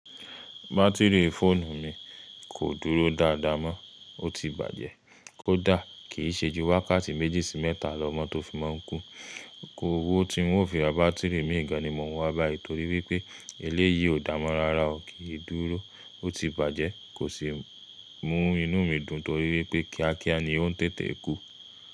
Bátìrì fóònù mi kò dúró dáadáa mọ́, ó ti bàjẹ́. Kó dà, kìí ṣe ju wákàtí méjì sí mẹ́ta lọ mọ́ tó fi máa ń kú. Ówó tí ń ó fi ra bátìrì mìíràn ni mò ń wá bá ẹ torí wípé eléyìí ò dáa mọ́ rárá, ò kìí dúró, ó ti bàjẹ́, kò sì mú inúmidùn torí wípé kíákíá ni ó ń tètè kù.